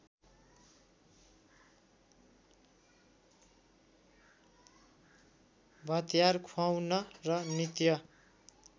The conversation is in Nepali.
भत्यार खुवाउन र नित्य